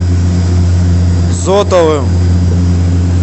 зотовым